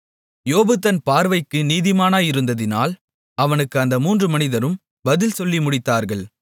யோபு தன் பார்வைக்கு நீதிமானாயிருந்ததினால் அவனுக்கு அந்த மூன்று மனிதரும் பதில் சொல்லி முடித்தார்கள்